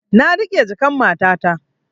Na riƙe jakan matata